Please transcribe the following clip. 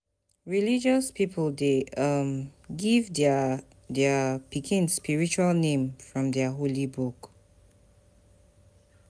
Religious pipo de um give their their pikin spiritual name from their Holy Book